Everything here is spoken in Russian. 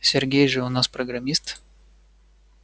сергей же у нас программист